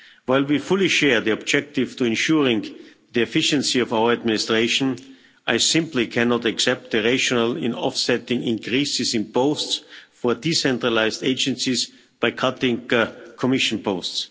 While we fully share the objective to ensuring the efficiency of our administration, I simply cannot accept the rationale in offsetting increases in posts for decentralised agencies by cutting Commission posts.